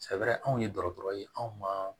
Sɛfɛrɛrɛ anw ye dɔgɔtɔrɔ ye anw ma